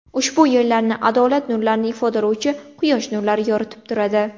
Ushbu yo‘llarni adolat nurlarini ifodalovchi quyosh nurlari yoritib turadi.